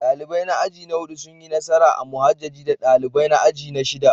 Dalibai na aji na hudu sun yi nasara a muhajjaji da dalibai na aji na shida.